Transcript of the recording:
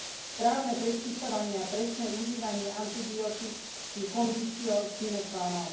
Správne predpisovanie a presné užívanie antibiotík je conditio sine qua non.